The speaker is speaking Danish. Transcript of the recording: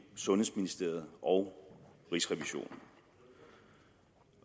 sundhedsministeriet og rigsrevisionen